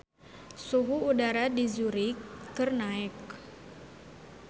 Suhu udara di Zurich keur naek